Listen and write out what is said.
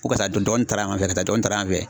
Ko karisa dɔgɔni taala yan fɛ, karis dɔgɔni taara yan fɛ.